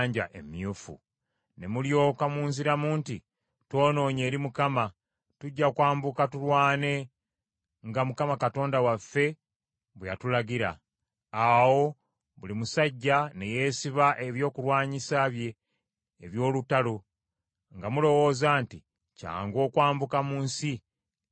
Ne mulyoka munziramu nti, “Twonoonye eri Mukama . Tujja kwambuka tulwane nga Mukama Katonda waffe bwe yatulagira.” Awo buli musajja ne yeesiba ebyokulwanyisa bye eby’olutalo, nga mulowooza nti kyangu okwambuka mu nsi ey’ensozi.